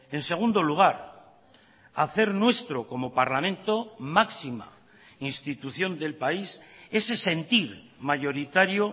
en segundo lugar hacer nuestro como parlamento máxima institución del país ese sentir mayoritario